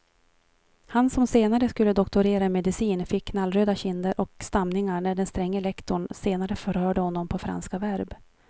Han som senare skulle doktorera i medicin fick knallröda kinder och stamningar när den stränge lektorn senare förhörde honom på franska verb.